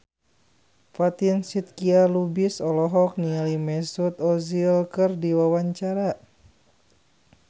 Fatin Shidqia Lubis olohok ningali Mesut Ozil keur diwawancara